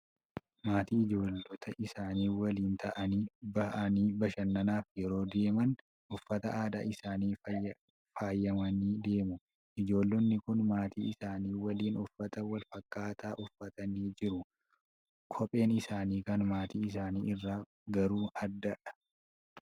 Maatii ijoollota isaanii waliin ta'anii, ba'anii bashannanaaf yeroo deeman, uffata aadaa isaaniin faayamanii deemu. Ijoollonni kun maatii isaanii waliin uffata wal fakkaataa uffatanii jiru. Kopheen isaanii kan maatii isaa irraa garuu adda adda.